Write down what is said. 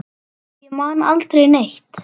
Ég man aldrei neitt.